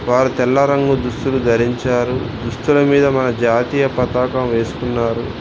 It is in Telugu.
వారు తెల్ల రంగు దుస్తులు ధరించారు దుస్తుల మీద మన జాతీయ పతాకం వేసుకున్నారు.